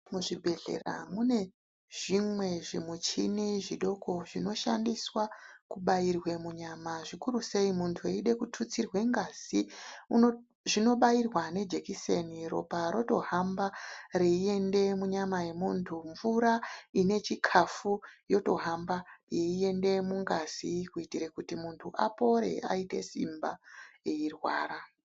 Muzvibhedhlera mune zvimwe zvimuchini zvidoko zvinoshandiswa kubairwe munyama zvikuru sei munhtu eida kitutsirwe ngazi zvinobairwa ne jekiseni ropa roto hamba reiende munyama yemuntu mvura ine chikafu yotohamba yeiende mungazi kuitire kuti muntu apore aite simba ei rwara